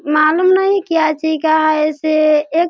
मालूम नहीं क्या चीज का है इसे एक --